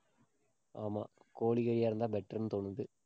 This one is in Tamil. ஆமா, கோழி கறியா இருந்தா, better ன்னு தோணுது.